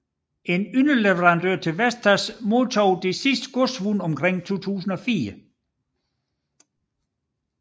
En underleverandør til Vestas modtog de sidste godsvogne omkring 2004